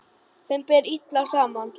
Þeim ber illa saman.